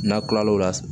N'a kilal'o la